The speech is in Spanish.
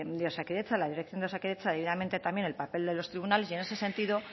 de osakidetza la dirección de osakidetza debidamente también el papel de los tribunales y en ese sentido